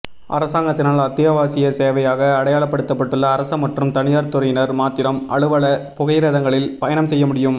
அரசாங்கத்தினால் அத்தியாவசிய சேவையாக அடையாளப்படுத்தப்பட்டுள்ள அரச மற்றும் தனியார் துறையினர் மாத்திரம் அலுவல புகையிரதங்களில் பயணம் செய்ய முடியும்